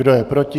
Kdo je proti?